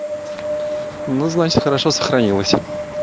ну значит хорошо сохранилась